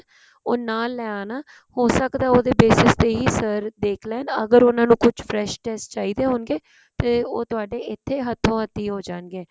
ਉਹ ਨਾਲ ਲਿਆਉਣ ਹੋ ਸਕਦਾ ਉਹਦੇ basis ਤੇ ਹੀ sir ਦੇਖ ਲੈਣ ਅਗਰ ਉਹਨਾਂ ਨੂੰ ਕੋਈ fresh test ਚਾਹੀਦੇ ਹੋਣਗੇ ਤੇ ਉਹ ਤੁਹਾਡੇ ਇੱਥੇ ਹੱਥੋਂ ਹੱਥੀ ਹੋ ਜਾਣਗੇ